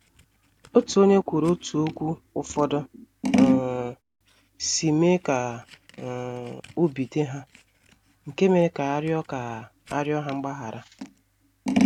Otu onye kwuru otú okwu ụfọdụ um si mee ka um obi dị ha, nke mere ka a riọ ka a riọ ha mgbaghara.